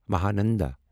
Mahananda